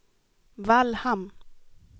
Vallhamn